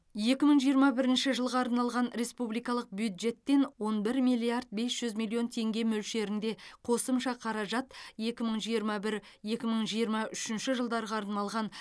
екі мың жиырма бірінші жылға арналған республикалық бюджеттен он бір миллиард бес жүз миллион теңге мөлшерінде қосымша қаражат екі мың жиырма бір екі мың жиырма үшінші жылдарға арналған